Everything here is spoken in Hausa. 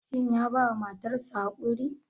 Shin ya bawa matar sa haƙuri?